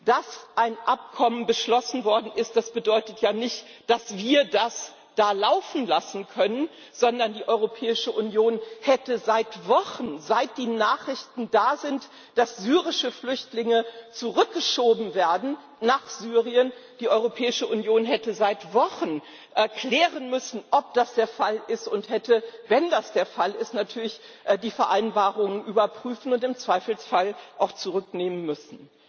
Dass ein Abkommen beschlossen worden ist, bedeutet ja nicht, dass wir das da laufen lassen können, sondern die Europäische Union hätte seit Wochen seit die Nachrichten da sind, dass syrische Flüchtlinge nach Syrien zurückgeschoben werden klären müssen, ob das der Fall ist, und hätte wenn das der Fall ist natürlich die Vereinbarung überprüfen und im Zweifelsfall auch zurücknehmen müssen.